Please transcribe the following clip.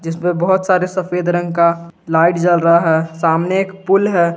जिसमें बहोत सारे सफेद रंग का लाइट जल रहा है सामने एक पूल है।